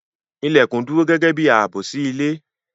Ilèkùn dúró gẹ́gẹ́ bi ààbò sí ilé